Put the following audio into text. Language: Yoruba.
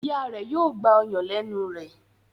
Ìyá rẹ yóò gbà ọyàn lénu rẹ.